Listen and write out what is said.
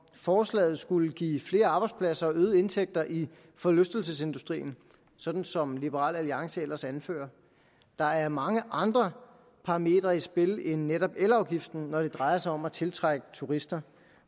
forslaget skulle give flere arbejdspladser og øgede indtægter i forlystelsesindustrien sådan som liberal alliance ellers anfører der er mange andre parametre i spil end netop elafgiften når det drejer sig om at tiltrække turister